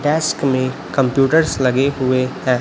में कंप्यूटर भी लगे हुए हैं।